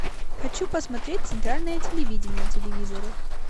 хочу посмотреть центральное телевидение на телевизоре